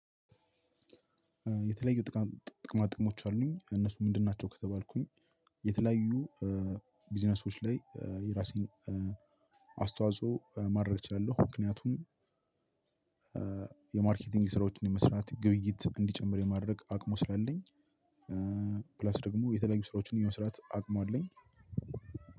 የተለያዩ ጥቅማ ጥቅማጥቅሞች አሉኝ እነሱ ምንድን ናቸው ከተባልኩኝ? የተለያዩ ቢዝነሶች ላይ የራሴን አስተዋጽኦ ማድረግ እችላለሁ። ምክንያቱም የማርኬቲንግ ስራዎችን የመስራት ግብይት እንዲጨምር የማድረግ አቅሙ ስላለኝ። ፕላስ ደግሞ የተለያዩ ስራዎችን የመስራት አቅሙ አለኝ።